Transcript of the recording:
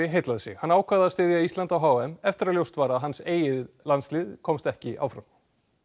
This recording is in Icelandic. heillað sig hann ákvað að styðja Ísland á h m eftir að ljóst var að hans eigin landslið komst ekki áfram